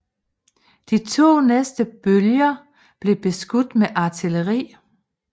De to næste bølger blev beskudt med artilleri